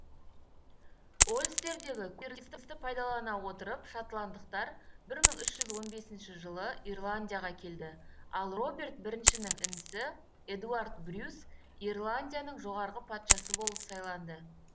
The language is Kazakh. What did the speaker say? ольстердегі көтерілісті пайдалана отырып шотландықтарбір мың үш жүз он бес жылы ирландияға келді ал роберт біріншінің інісі эдуард брюс ирландияның жоғарғы патшасы болып сайланды